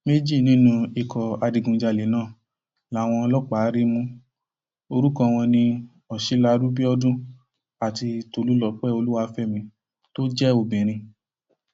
méjì nínú ikọ adigunjalè náà làwọn ọlọpàá rí mú orúkọ wọn ní ọsilaru biodun àti tolúlọpẹ olúwàfẹmi tó jẹ obìnrin